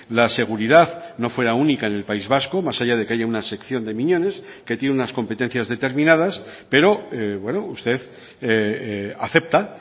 la seguridad no fuera única en el país vasco más allá de que haya una sección de miñones que tiene unas competencias determinadas pero usted acepta